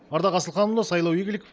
ардақ асылханұлы сайлау игликов